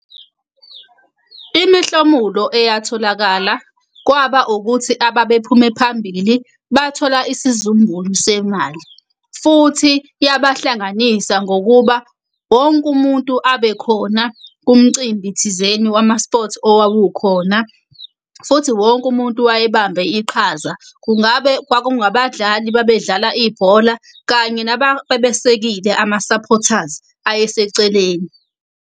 Imihlomulo eyatholakala kwaba ukuthi ababephume phambili bathola isizumbulu semali, futhi yabahlanganisa ngokuba wonke umuntu abe khona kumcimbi thizeni wama-sport owawukhona, futhi wonke umuntu wayebamba iqhaza. Kungabe kwakungabadlali babedlala ibhola kanye nababesekile ama-supporters aye eseceleni.